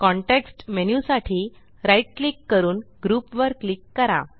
context menu साठी right click करून group वर क्लिक करा